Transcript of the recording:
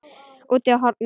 Úti á horni.